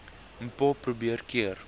mpho probeer keer